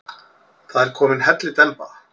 Það er komin hellidemba.